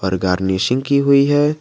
और गार्निशिंग की हुई है।